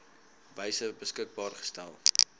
wyse beskikbaar gestel